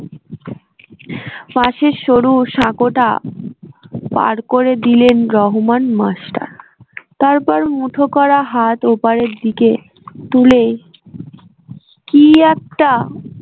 পাশের সরু সাঁকো টা পার করে দিলেন রহমান মাস্টার তারপর মুঠো করা হাত ওপারের দিকে তুলে কি একটা